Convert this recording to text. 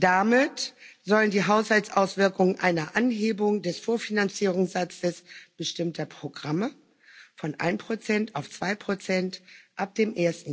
Damit sollen die Haushaltsauswirkungen einer Anhebung des Vorfinanzierungssatzes bestimmter Programme von 1 auf 2 ab dem